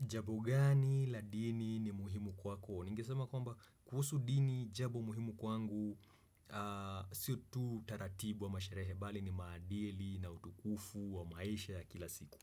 Jambo gani la dini ni muhimu kwako? Ningesema kwamba kuhusu dini jambo muhimu kwangu siyo tu taratibu ama sherehe bali ni maadili na utukufu wa maisha ya kila siku